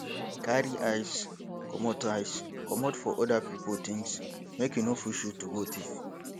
carry eyes comot eyes comot for oda pipo things make e no push you to go thief